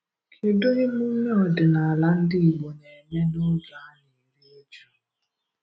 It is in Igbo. Kedụ emume ọdịnaala ndị Igbo na-eme n’oge a na-eri uju?